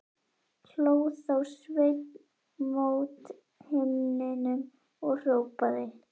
Hló þá Sveinn mót himninum og hrópaði